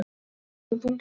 Svo dæsti hún þunglega.